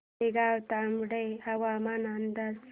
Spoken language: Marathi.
तळेगाव दाभाडे हवामान अंदाज